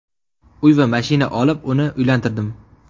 Uy va mashina olib, uni uylantirdim.